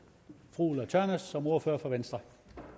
fru ulla tørnæs som ordfører for venstre